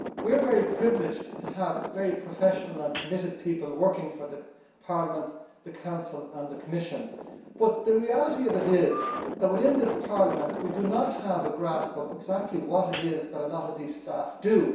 We are very privileged to have very professional and committed people working for Parliament, the Council and the Commission, but the reality of it is that within this Parliament, we do not have a grasp of exactly what a lot of these staff do.